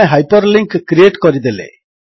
ଆମେ hyperlink create କରିଦେଲେ